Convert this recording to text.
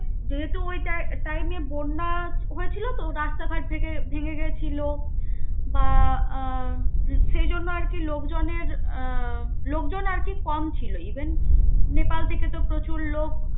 যেহেতু ওই tim~time এ বন্যা হয়েছিল তো রাস্তাঘাট ভেঙে ভেঙ্গে গেছিল. বা আহ উম সেই জন্যে আরকি লোকজনের আহ লোকজন আর কি কম ছিল. even নেপাল থেকে তো প্রচুর লোক